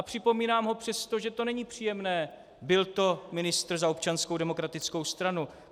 A připomínám ho přesto, že to není příjemné, byl to ministr za Občanskou demokratickou stranu.